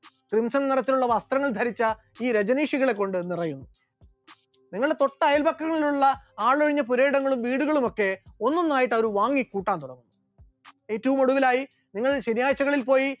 ബെൻസിൽ നിറത്തിലുള്ള വസ്ത്രങ്ങൾ ധരിച്ച ഈ രജനീഷുകളെ കൊണ്ട് നിറയും, നിങ്ങളുടെ തൊട്ട് അയല്പക്കങ്ങളിലുള്ള ആളൊഴിഞ്ഞ പുരയിടങ്ങളും വീടുകളുമൊക്കെ ഒന്നൊന്നായിട്ട് അവർ വാങ്ങിക്കൂട്ടാൻ തുടങ്ങും, ഏറ്റവും ഒടുവിലായി നിങ്ങൾ ശനിയാഴ്ചകളിൽ പോയി